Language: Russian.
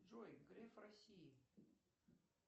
джой греф россии